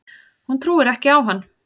Hún trúir ekki á hann.